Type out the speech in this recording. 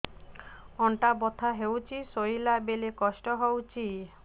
ଅଣ୍ଟା ବଥା ହଉଛି ଶୋଇଲା ବେଳେ କଷ୍ଟ ହଉଛି